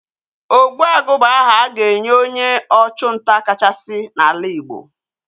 Ogbuagu bụ aha a ga-enye onye ọchụ nta kachasị n'ala Igbo